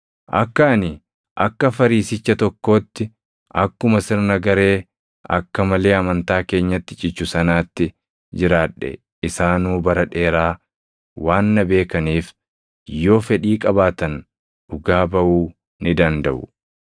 Akka ani akka Fariisicha tokkootti akkuma sirna garee akka malee amantaa keenyatti cichu sanaatti jiraadhe isaanuu bara dheeraa waan na beekaniif, yoo fedhii qabaatan dhugaa baʼuu ni dandaʼu.